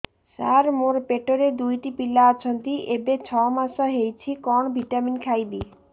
ସାର ମୋର ପେଟରେ ଦୁଇଟି ପିଲା ଅଛନ୍ତି ଏବେ ଛଅ ମାସ ହେଇଛି କଣ ଭିଟାମିନ ଖାଇବି